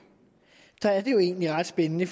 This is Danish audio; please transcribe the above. er det jo egentlig ret spændende